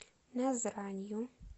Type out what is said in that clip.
назранью